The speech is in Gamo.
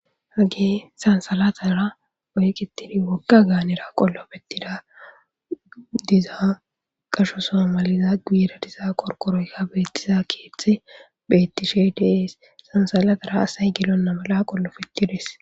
hage sansalatara oyqitidi wogga gaanera qollafettida diza qasho so maliza guiira diza qorqqoroyka beettisa keethe beettishe dees. sansalatara asay gelonna mala qollofittides.